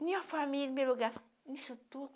Minha família, em primeiro lugar. Isso